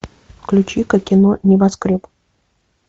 включи ка кино небоскреб